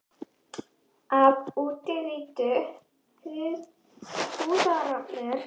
Af útliti húðarinnar má oft ráða nokkuð um líkamlegt ástand.